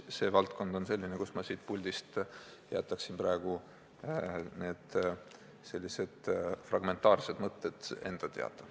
See valdkond on selline, mille puhul ma siit puldist rääkides jätaksin oma fragmentaarsed mõtted enda teada.